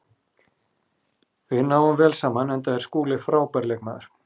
Við náum vel saman enda er Skúli frábær leikmaður.